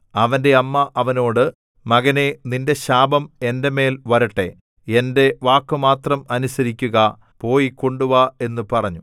അവന്റെ അമ്മ അവനോട് മകനേ നിന്റെ ശാപം എന്റെ മേൽ വരട്ടെ എന്റെ വാക്കുമാത്രം അനുസരിക്കുക പോയി കൊണ്ടുവാ എന്നു പറഞ്ഞു